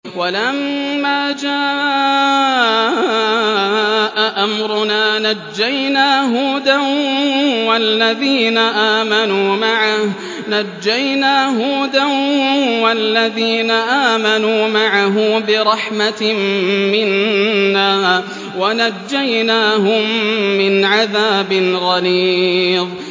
وَلَمَّا جَاءَ أَمْرُنَا نَجَّيْنَا هُودًا وَالَّذِينَ آمَنُوا مَعَهُ بِرَحْمَةٍ مِّنَّا وَنَجَّيْنَاهُم مِّنْ عَذَابٍ غَلِيظٍ